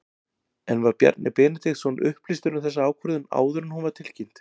En var Bjarni Benediktsson upplýstur um þessa ákvörðun áður en hún var tilkynnt?